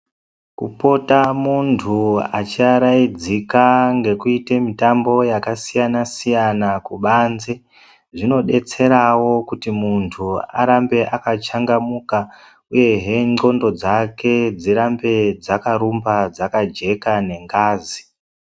Kupota muntu achiaradzika ngekuita mitambo yakasiyana siyana kubanze zvinodetserawo kuti muntu arambe akachangamuka uyehe ndxondo dzake dzirambe dzakarumba dzakajeka nengazi.